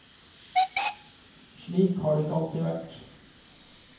Slik har det ikke alltid vært.